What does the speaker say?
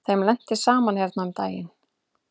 Þeim lenti saman hérna um daginn.